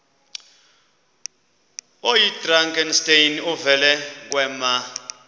oyidrakenstein uvele kwema